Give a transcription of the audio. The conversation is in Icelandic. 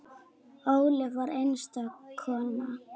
Ólöf var einstök kona.